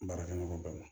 Baarakɛ ɲɔgɔn bɛɛ